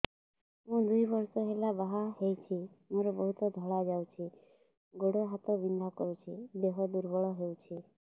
ମୁ ଦୁଇ ବର୍ଷ ହେଲା ବାହା ହେଇଛି ମୋର ବହୁତ ଧଳା ଯାଉଛି ଗୋଡ଼ ହାତ ବିନ୍ଧା କରୁଛି ଦେହ ଦୁର୍ବଳ ହଉଛି